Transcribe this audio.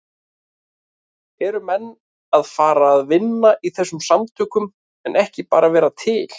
Eru menn að fara að vinna í þessum samtökum en ekki bara vera til?